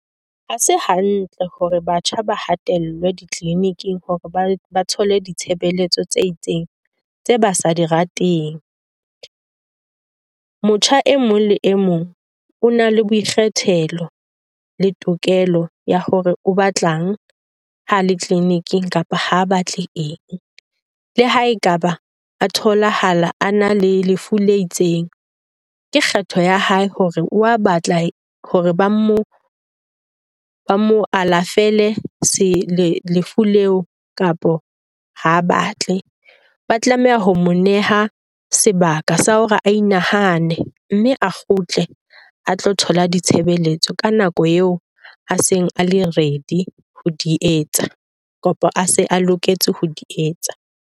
Ha se hantle hore batjha ba hatellwe di-clinic-ing hore ba thole ditshebeletso tse itseng tse ba sa di rateng. Motjha e mong le e mong o na le boikgethelo le tokelo ya hore o batlang ha le clinic-ng kapa ha batle eng. Le haekaba a tholahala a na le lefu le itseng, ke kgetho ya hae hore o a batla hore ba mo ba mo alafele lefu kapa ha a batle. Ba tlameha ho mo neha sebaka sa hore a inahane mme a kgutle a tlo thola ditshebeletso ka nako eo a seng a le ready ho di etsa, kapo a se a loketse ho di etsa.